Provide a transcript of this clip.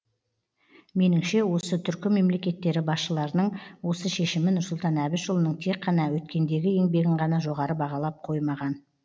меніңше осы түркі мемлекеттері басшыларының осы шешімі нұрсұлтан әбішұлының тек қана өткендегі еңбегін ғана жоғары бағалап қоймаған